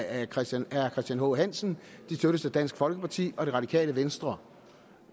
af herre christian h hansen dansk folkeparti og det radikale venstre